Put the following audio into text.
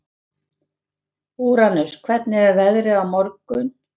Úranus, hvernig er veðrið á morgun?